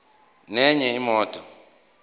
nenye imoto